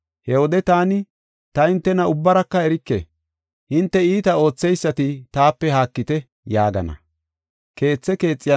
He wode taani, ‘Ta hintena ubbaraka erike, hinte iita ootheysati taape haakite’ yaagana.